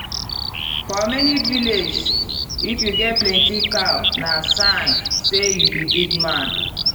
for many villages if you get plenty cow na sign say you be big man.